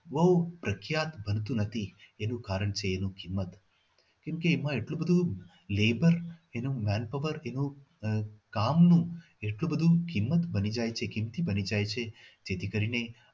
બહુ પ્રખ્યાત હતી એનું કારણ છે એનું કિમત કેમકે એમાં એટલું બધું labour એનો manpower એવો કામનું એટલું બધું કિંમત બની જાય છે જે કિંમતી બની જાય છે જેથી કરીને